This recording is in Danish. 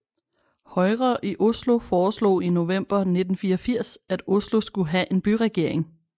Høyre i Oslo foreslog i november 1984 at Oslo skulle have en byregering